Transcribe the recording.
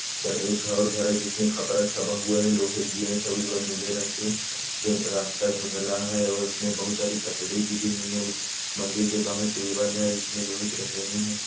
एक घर है घर में खपरा छापा हुआ है लोहे के गेट है नीले रंग के रास्ता धुँधला है व इसमें बहुत सारी कचड़ी गिरी हुई है और मंदिर के बाहर टेबल है उसमें लोहे की है।